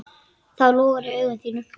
Það logar í augum þínum.